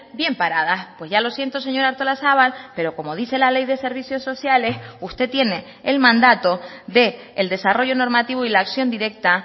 bien paradas pues ya lo siento señora artolazabal pero como dice la ley de servicios sociales usted tiene el mandato del desarrollo normativo y la acción directa